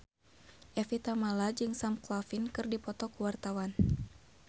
Evie Tamala jeung Sam Claflin keur dipoto ku wartawan